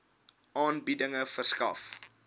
aanbieding verskaf